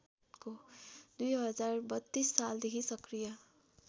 २०३२ सालदेखि सक्रिय